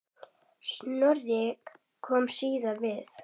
Snorri kom víða við.